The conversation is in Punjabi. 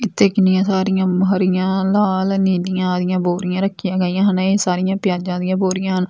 ਇੱਥੇ ਕਿੰਨੀਆਂ ਸਾਰੀਆਂ ਹਰੀਆਂ ਲਾਲ ਨੀਲੀਆਂ ਬੋਰੀਆਂ ਰੱਖੀਆਂ ਗਿਆ ਹਨ ਇਹ ਸਾਰੀਆਂ ਪਿਆਜਾਂ ਦੀਆਂ ਬੋਰੀਆਂ --